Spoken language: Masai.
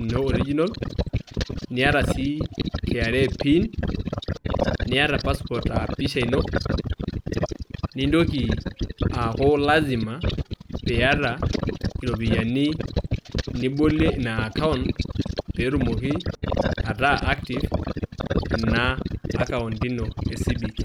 ino original niata sii kra pin niata passport [aa] pisha ino nontoki aaku lazima piiata iropiyani nibolie ina  akaunt peetumoki ataa active ina akaunt ino e cbk.